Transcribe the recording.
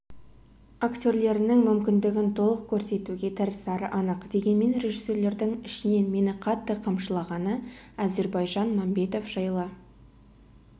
актерлерінің мүмкіндігін толық көрсетуге тырысары анық дегенмен режиссерлердің ішінен мені қатты қамшылағаны әзірбайжан мәмбетов жылы